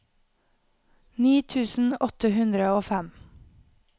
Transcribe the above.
ni tusen åtte hundre og fem